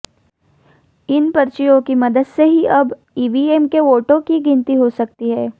इन पर्चियों की मदद से ही अब ईवीएम के वोटों की गिनती हो सकती है